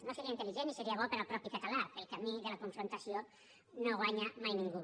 no seria intel·ligent ni seria bo per al mateix català pel camí de la confrontació no guanya mai ningú